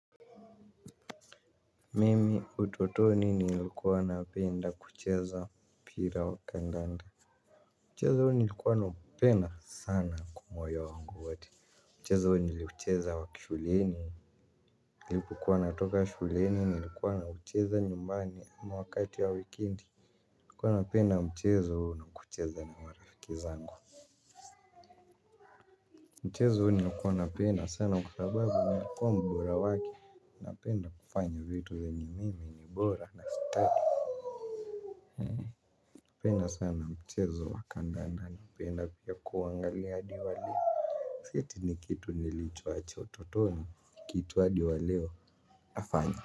Mimi utotoni nilikuwa napenda kucheza mpira wa kandanda. Mcheza huo nilikuwa naupenda sana kwa mwoyo wangu wote. Mchezo huo niliucheza wakishuleni nilipokuwa natoka shuleni nilikuwa naucheza nyumbani ama wakati ya wikendi. Nilikuwa napenda mchezaohuo na kucheza na marafiki zangu. Mchezo huo nilikuwa napenda sana kwa sababu nilikuwa mbora wake. Napenda kufanya vitu zenye mimi ni bora na stadi napenda sana mchezo wa kandanda napenda pia kuangalia hadi waleo. Si eti ni kitu nilichoacha utotoni kitu hadi waleo nafanya.